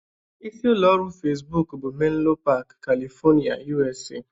Isi ụlọ ọrụ Fesbuk bụ Menlo Park, California, USA